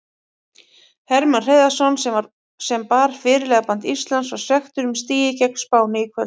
Hermann Hreiðarsson sem bar fyrirliðaband Íslands var svekktur með stigið gegn Spáni í kvöld.